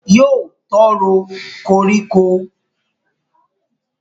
Yóò tó ro koríko